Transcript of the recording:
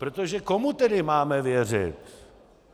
protože komu tedy máme věřit?